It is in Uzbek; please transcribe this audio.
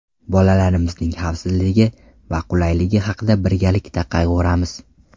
Bolalarimizning xavfsizligi va qulayligi haqida birgalikda qayg‘uramiz.